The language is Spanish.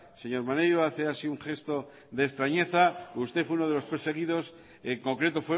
señor maneiro hace así un gesto de extrañeza usted fue unos de los perseguidos en concreto